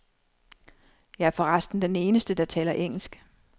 Jeg er for resten den eneste, der taler engelsk.